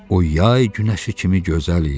O yay günəşi kimi gözəl idi.